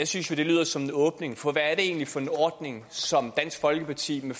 synes jo det lyder som en åbning for hvad er det egentlig for en ordning som dansk folkeparti med